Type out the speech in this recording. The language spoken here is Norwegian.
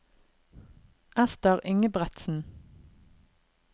Esther Ingebretsen